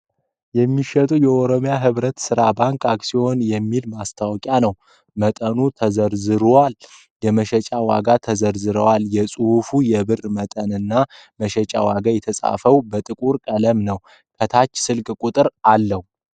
የሚሸጡ የኦሮሚያ ህብረት ዘይት ባንክ አክሲዮኖች የሚል ማስታወቂያ ነዉ። መጠኑ ተዘርዝሯል ፤ የመሸጫ ዋጋውም ተዘርዝሯል። ጽሁፉ የብሩ መጠንና መሸጫ ዋጋው የተጻፈው በጥቁር ቀለም ነው ። ከታች ስልክ ቁጥር አለው ።